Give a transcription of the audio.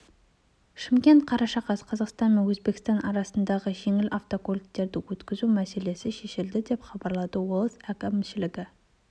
шымкент қараша қаз қазақстан мен өзбекстан арасында жеңіл автокөліктерді өткізу мәселесі шешілді деп хабарлады облыс әкімшілігінің